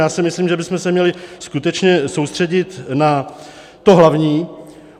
Já si myslím, že bychom se měli skutečně soustředit na to hlavní.